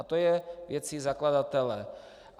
A to je věcí zakladatele.